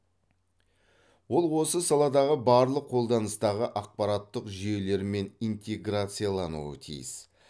ол осы саладағы барлық қолданыстағы ақпараттық жүйелермен интеграциялануы тиіс